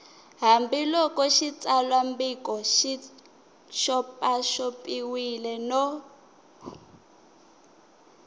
hambiloko xitsalwambiko xi xopaxopiwile no